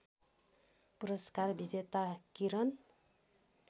पुरस्कार विजेता किरन